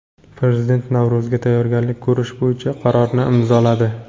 Prezident Navro‘zga tayyorgarlik ko‘rish bo‘yicha qarorni imzoladi.